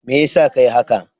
Meyasa ka yi haka?